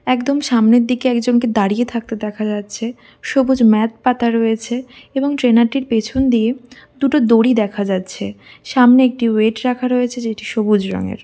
একদম সামনের দিকে একজনকে দাঁড়িয়ে থাকতে দেখা যাচ্ছে। সবুজ ম্যাট পাতা রয়েছে। এবং ট্রেনার -টির পেছন দিয়ে দুটো দড়ি দেখা যাচ্ছে সামনে একটি ওয়েট রাখা রয়েছে যেটি সবুজ রঙের।